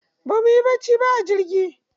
Ba mu yi bacci ba a jirgi.